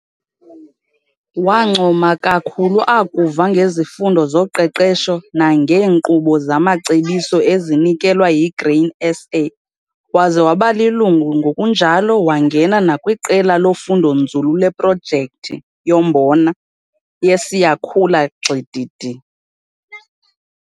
Wancoma kakhulu akuva ngezifundo zoqeqesho nangeenkqubo zamacebiso ezinikelwa yiGrain SA waze waba lilungu ngokunjalo wangena nakwiQela loFundonzulu leProjekthi yoMbona yeSiyakhula Gxididi.